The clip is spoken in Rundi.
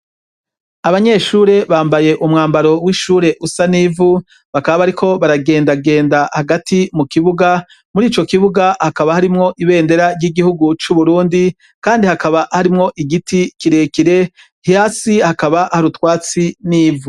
Abanyeshure bambaye umwambaro w’ishure usa n’ivu, bakaba bariko baragenda genda hagati mu kibuga, murico kibuga hakaba harimwo ibendera ry’igihugu c’Uburundi kandi hakaba harimwo igiti kirekire hasi hakaba hari utwatsi n’ivu.